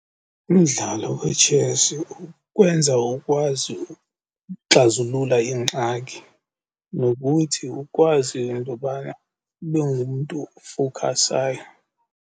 Umdlalo wetshesi ukwenza ukwazi ukuxazulula iingxaki nokuthi ukwazi intobana ube ngumntu ofowukhasayo.